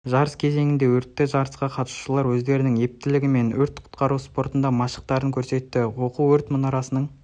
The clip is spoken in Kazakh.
жарыс кезеңде өтті жарысқа қатысушылар өздерінің ептілігі мен өрт құтқару спортында машықтарын көрсетті оқу өрт мұнарасының